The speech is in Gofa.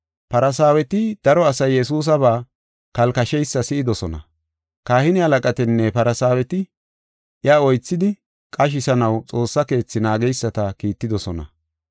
Farsaaweti daro asay Yesuusaba kalkasheysa si7idosona. Kahine halaqatinne Farsaaweti iya oythidi qashisanaw Xoossa Keethi naageysata kiittidosona.